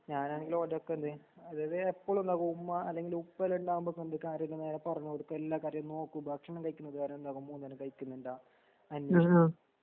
ഞാനാണെങ്കിൽ ഓന്റടുത്ത് വെർതേ അതത് എപ്പളൊന്ന്ഘുമ്മാ അല്ലെങ്കിലുപ്പണ്ടാകുമ്പൊപറഞ്ഞിട്ട് കാര്യല്ല നേരെപറഞ്ഞുകൊടുക്കും എല്ലാകാര്യം നോക്കൂഭക്ഷണംകഴിക്കുന്നത് വരെയുള്ളമൂന്ന്നേരം കയിക്കുന്നുണ്ടാ.